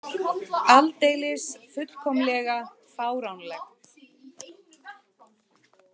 Aldeilis fullkomlega fáránlegt.